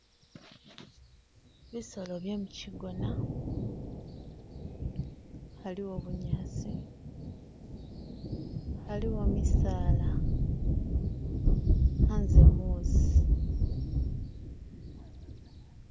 Bisolo bye mukigona haliwo bunyasi, haliwo misaala hanze muusi.